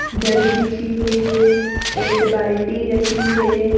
दरी बिछी हुई है एक बाल्टी रखी है।